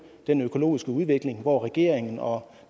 den økologiske udvikling og regeringen og